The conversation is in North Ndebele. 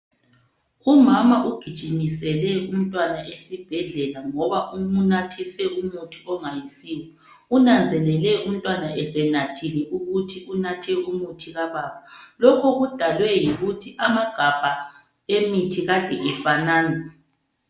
Umama ugijimisele umntwana esibhedlela ngoba umnathise umuthi ongayisiyo. Unanzelele umntwana esenathile ukuthi unathe umuthi kababa. Lokho kudalwe yikuthi amagabha emithi kade efanana.